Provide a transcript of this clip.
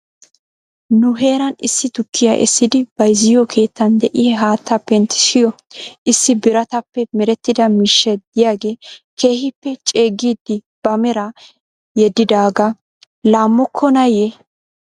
Nu heeran issi tukkiyaa essidi bayzziyoo keettan de'iyaa haattaa penttissiyoo issi birataappe merettida mishshay diyaagee keehippe ceeggidi ba meraa yeddidaagaa laamokkonaayye?